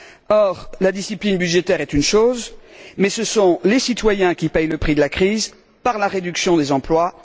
Or, la discipline budgétaire est une chose, mais ce sont les citoyens qui paient le prix de la crise, par la réduction des emplois.